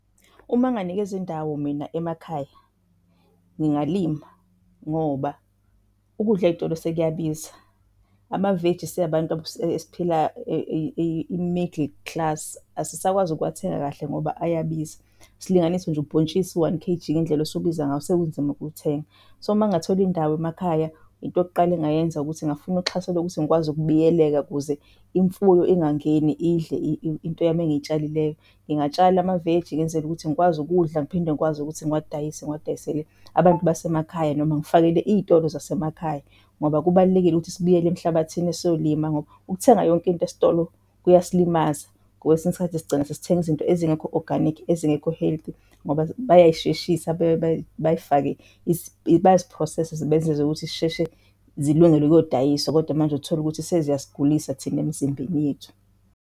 Uma nganikezwa indawo mina emakhaya ngingalima ngoba ukudla ey'tolo sekuyabiza, amaveji si abantu esiphila i-middle class asisakwazi ukuwathenga kahle ngoba ayabiza. Silinganise nje ubhontshisi u-one K_G ngendlela osubiza ngakhona sekunzima ukuwuthenga. So, mangathola indawo emakhaya into yokuqala engayenza ukuthi ngingafuna uxhaso lokuthi ngikwazi ukubiyeleka ukuze imfuyo ingangeni idle into yami engiyishalileyo. Ngingatshala amaveji ngenzele ukuthi ngikwazi ukudla ngiphinde ngikwazi ukuthi ngiwadayise, ngiwadayisele abantu basemakhaya noma ngifakele iy'tolo zasemakhaya. Ngoba kubalulekile ukuthi sibuyele emhlabathini siyolima ngoba ukuthenga yonke into esitolo kuyasilimaza. Ngoba kwesinye isikhathi sigcina sesithenga izinto ezingekho oganikhi ezingekho health ngoba bayay'sheshisa bayifake bayazi process-a bezenze ukuthi zisheshe zilungele ukuyodayiswa, kodwa manje uthole ukuthi seziyasigulisa thina emizimbeni yethu.